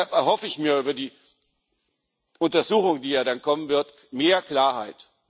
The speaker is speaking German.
Deshalb erhoffe ich mir über die Untersuchung, die ja dann kommen wird, mehr Klarheit.